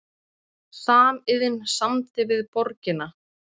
Samiðn samdi við borgina